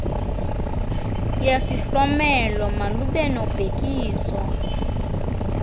yesihlomelo malube nobhekiso